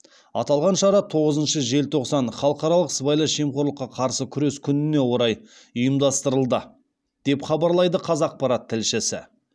аталған шара тоғызыншы желтоқсан халықаралық сыбайлас жемқорлыққа қарсы күрес күніне орай ұйымдастырылды деп хабарлайды қазақпарат тілшісі